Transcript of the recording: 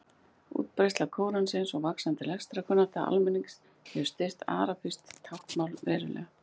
Útbreiðsla Kóransins og vaxandi lestrarkunnátta almennings hefur styrkt arabískt talmál verulega.